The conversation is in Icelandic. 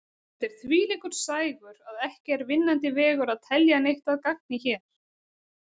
Þetta er þvílíkur sægur að ekki er vinnandi vegur að telja neitt að gagni hér.